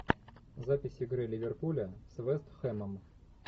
запись игры ливерпуля с вест хэмом